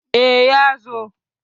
E, ya zo.